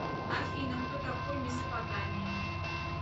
афина кто такой месопотамия